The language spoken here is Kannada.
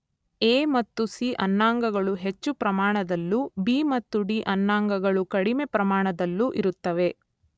ಎ ಮತ್ತು ಸಿ ಅನ್ನಾಂಗಗಳು ಹೆಚ್ಚು ಪ್ರಮಾಣದಲ್ಲೂ ಬಿ ಮತ್ತು ಡಿ ಅನ್ನಾಂಗಗಳು ಕಡಿಮೆ ಪ್ರಮಾಣದಲ್ಲೂ ಇರುತ್ತವೆ.